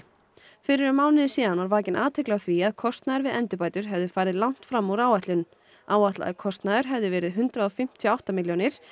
fyrir um mánuði síðan var vakin athygli á því að kostnaður við endurbætur hefði farið langt fram úr áætlun áætlaður kostnaður hafði verið hundrað fimmtíu og átta milljónir